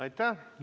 Aitäh!